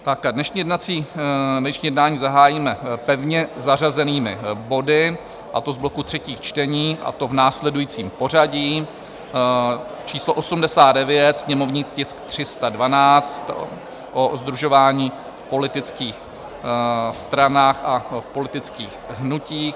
Dnešní jednání zahájíme pevně zařazenými body, a to z bloku třetích čtení, a to v následujícím pořadí: číslo 89, sněmovní tisk 312, o sdružování v politických stranách a v politických hnutích;